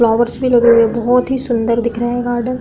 Flowers भी लगे हुए हैं। बहोत ही सुंदर दिख रहे हैं गार्डन ।